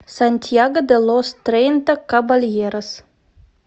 сантьяго де лос трейнта кабальерос